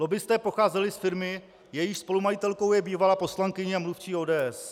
Lobbisté pocházeli z firmy, jejíž spolumajitelkou je bývalá poslankyně a mluvčí ODS.